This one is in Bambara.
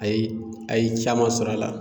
A ye a ye caman sɔrɔ a la.